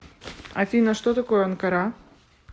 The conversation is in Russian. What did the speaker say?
афина что такое анкара